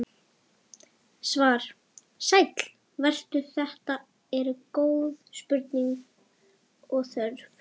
Svar: Sæll vertu, þetta eru góð spurning og þörf.